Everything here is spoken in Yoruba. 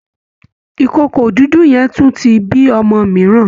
ìkookò dúdú yẹn tún ti bí ọmọ mìíràn